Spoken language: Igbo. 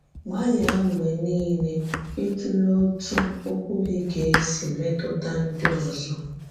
Gbàlìà mgbe niile ị̀tùlè òtú òkwú gị gà-èsì mètùtà ndị òzò.